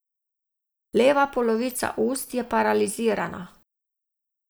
Leva polovica ust je paralizirana.